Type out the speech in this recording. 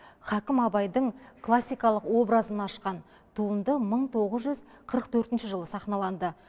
хакім абайдың классикалық образын ашқан туынды мың тоғыз жүз қырық төртінші жылы сахналанды